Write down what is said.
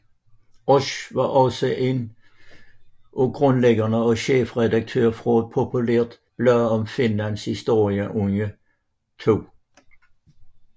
Oesch var også en af grundlæggerne og chefredaktør for et populært blad om Finlands historie under 2